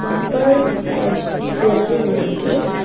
वहां पर शायद ज्वेलरी मिलेंगे।